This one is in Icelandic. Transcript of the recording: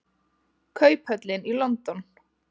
Kauphöllin í London.